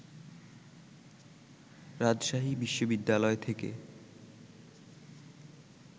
রাজশাহী বিশ্ববিদ্যালয় থেকে